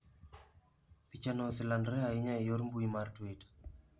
Pichano oselandore ahinya e yor mbuyi mar Twitter.